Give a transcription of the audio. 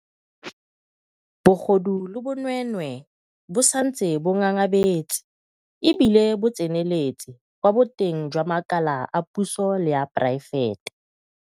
Bogodu le bonweenwee bo santse bo ngangabetse e bile bo tseneletse kwa boteng jwa makala a puso le a poraefete.